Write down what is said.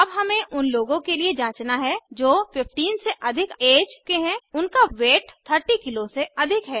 अब हमें उन लोगों के लिए जाँचना है जो 15 से अधिक ऐज के हैं और उनका वेट 30 किग्रा से अधिक है